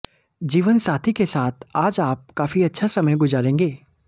जीवनसाथी के साथ आज आप काफी अच्छा समय गुजारेंगे